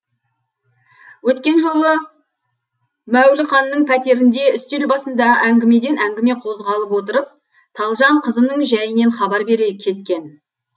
өткен жолы мәуліқанның пәтерінде үстел басында әңгімеден әңгіме қозғалып отырып талжан қызының жәйінен хабар бере кеткен